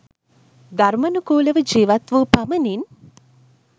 ධර්මනුකුලව ජිවත් වූ පමණින්